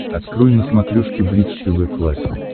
открой на смотрешке бридж тв классик